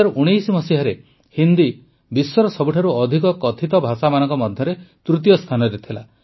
୨୦୧୯ରେ ହିନ୍ଦୀ ବିଶ୍ୱର ସବୁଠାରୁ ଅଧିକ କଥିତ ଭାଷାମାନଙ୍କ ମଧ୍ୟରେ ତୃତୀୟ ସ୍ଥାନରେ ଥିଲା